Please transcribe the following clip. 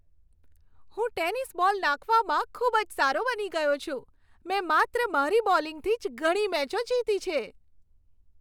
હું tennis ball નાંખવામાં ખૂબ જ સારો બની ગયો છું. મેં માત્ર મારી બોલિંગથી જ ઘણી મેચો જીતી છે.